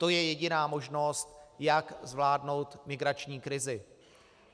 To je jediná možnost, jak zvládnout migrační krizi.